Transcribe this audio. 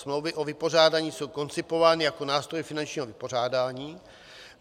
Smlouvy o vypořádání jsou koncipovány jako nástroj finančního vypořádání.